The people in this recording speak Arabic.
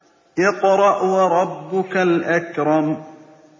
اقْرَأْ وَرَبُّكَ الْأَكْرَمُ